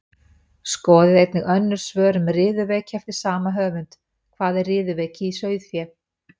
Skoðið einnig önnur svör um riðuveiki eftir sama höfund: Hvað er riðuveiki í sauðfé?